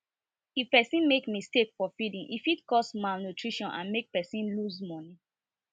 if person make mistake for feeding e fit cause malnutrition and make person lose money